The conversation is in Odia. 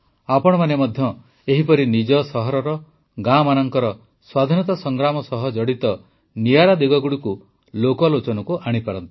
ଆପଣମାନେ ମଧ୍ୟ ଏହିପରି ନିଜ ସହରର ଗାଁମାନଙ୍କର ସ୍ୱାଧୀନତା ସଂଗ୍ରାମ ସହ ଜଡ଼ିତ ନିଆରା ଦିଗଗୁଡ଼ିକୁ ଲୋକଲୋଚନକୁ ଆଣିପାରନ୍ତି